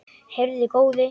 Heyrðu góði.